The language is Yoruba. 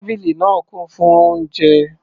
Tábìlì náà kún fún oúnjẹ.